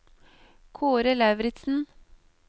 Kaare Lauritzen